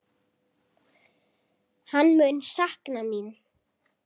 Hann mun sakna mín.